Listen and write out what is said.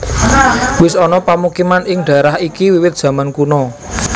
Wis ana pamukiman ing dhaérah iki wiwit zaman kuna